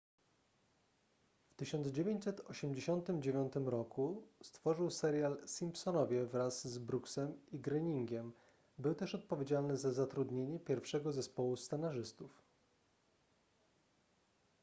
w 1989 roku stworzył serial simpsonowie wraz z brooksem i groeningiem był też odpowiedzialny za zatrudnienie pierwszego zespołu scenarzystów